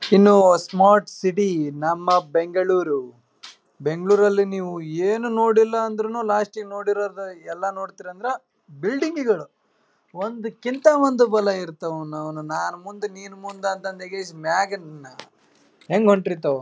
ಇನ್ನು smart city ನಮ್ಮ ಬೆಂಗಳೂರು. ಬೆಂಗಳೂರು ಅಲ್ಲಿ ನೀವು ಏನು ನೋಡಿಲ್ಲ ಅಂದ್ರು ಲಾಸ್ಟ ಇಗ್ ನೋಡೋದು ಎಲ್ಲ ನೋಡ್ತೀರಾ ಅಂದ್ರ ಬಿಲ್ಡಿಂಗ್ ಗಳು. ಒಂದ್ರ್ ಕಿಂತ ಒಂದ್ಬಲ ಇರ್ತವು ಅವನೌನ ನಾನ್ ಮುಂದ ನೀನ್ ಮುಂದ ಅಂತಕೇಶ್ ಮ್ಯಾಗ. ಹ್ಯಾಂಗ್ ಹೊಂಟಿರ್ತಾವ.